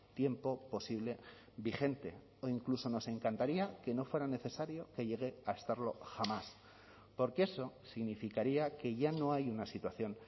tiempo posible vigente o incluso nos encantaría que no fuera necesario que llegue a estarlo jamás porque eso significaría que ya no hay una situación